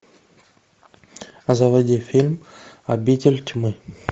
а заводи фильм обитель тьмы